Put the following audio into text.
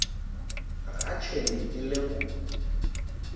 ga tšhwene e le go